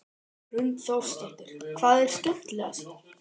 Hrund Þórsdóttir: Hvað er skemmtilegast?